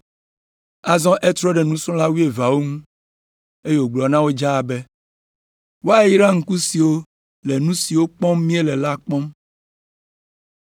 Azɔ etrɔ ɖe nusrɔ̃la wuieveawo ŋu, eye wògblɔ na wo dzaa be, “Woayra ŋku siwo le nu siwo kpɔm miele la kpɔm.